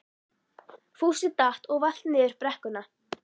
Fúsi datt og valt niður brekkuna.